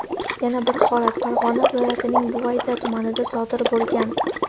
Yana bir holat Farg‘ona viloyatining Buvayda tumanida sodir bo‘lgan.